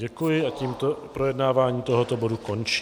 Děkuji a tím projednávání tohoto bodu končím.